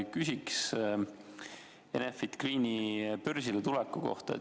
Küsin Enefit Greeni börsile tuleku kohta.